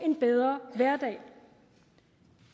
en bedre hverdag